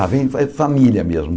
Ah, vem é de família mesmo.